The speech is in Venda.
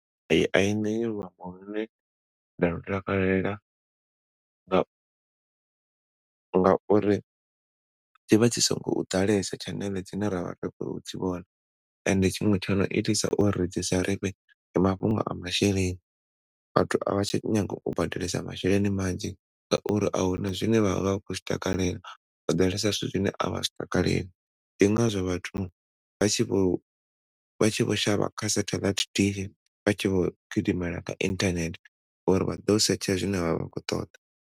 Ee, a i ṋei luambo lune nda lu takalela nga nga uri dzivha dzi si ngo ḓalesa tshaneḽe dzine ra vha ri kho dzi vhona ende tshiṅwe tshono itisa uri dzi sa ndi mafhungo a masheleni. Vhathu avha tsha nyaga u badelesa masheleni manzhi nga uri ahuna zwine vha vha vha kho zwi takalela, ho ḓalesa zwithu zwine a vha zwi takaleli ndi ngazwo vhathu vha tshi vho vha tshi vho shavha kha setheḽaithi TV vha tshi vho gidimela kha inthanethe uri vha ḓo setsha zwine vha kho ṱoḓa.